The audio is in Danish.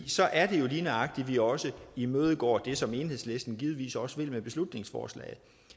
så er det jo lige nøjagtig sådan at vi også imødegår det som enhedslisten givetvis også vil med beslutningsforslaget